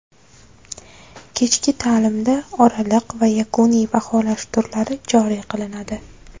Kechki ta’limda oraliq va yakuniy baholash turlari joriy qilinadi.